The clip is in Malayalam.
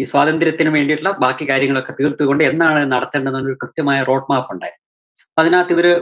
ഈ സ്വാതന്ത്രത്തിന് വേണ്ടിട്ടുള്ള ബാക്കി കാര്യങ്ങളൊക്കെ തീര്‍ത്തുകൊണ്ട് എന്നാണ് അത് നടത്തേണ്ടത് എന്നൊരു കൃത്യമായൊരു route map ഉണ്ടായിരുന്നു. അപ്പോ അതിനകത്ത് ഇവര്